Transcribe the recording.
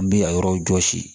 N bi a yɔrɔw jɔsi